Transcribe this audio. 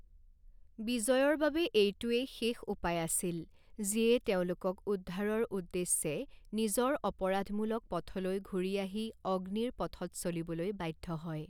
বিজয়ৰ বাবে এইটোৱেই শেষ উপায় আছিল, যিয়ে তেওঁলোকক উদ্ধাৰৰ উদ্দেশ্যে নিজৰ অপৰাধমূলক পথলৈ ঘূৰি আহি 'অগ্নিৰ পথ'ত চলিবলৈ বাধ্য হয়।